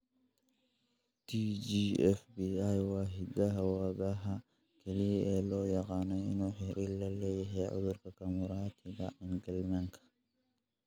TGFB1 waa hidda-wadaha kaliya ee loo yaqaan inuu xiriir la leeyahay cudurka Camuratika Engelmannka.